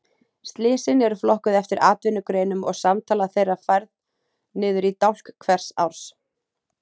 Slysin eru flokkuð eftir atvinnugreinum og samtala þeirra færð niður í dálk hvers árs.